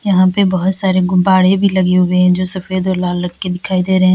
यहां पे बहोत सारे गुब्बारे भी लगे हुए हैं जो सफेद और लाल रंग के दिखाई दे रहे हैं।